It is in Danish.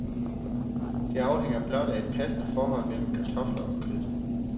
Det afhænger blot af et passende forhold mellem kartofler og kød.